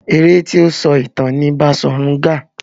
Eré tí ó ń sọ ìtàn ni Baṣòrun Gaa.